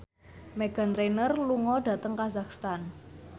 Meghan Trainor lunga dhateng kazakhstan